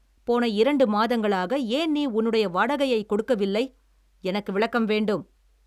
போன இரண்டு மாதங்களாக ஏன் நீ உன்னுடைய வாடகையைக் கொடுக்கவில்லை? எனக்கு விளக்கம் வேண்டும்.